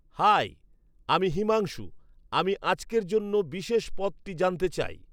high, আমি হিমাংশু, আমি আজকের জন্য বিশেষ পদটি জানতে চাই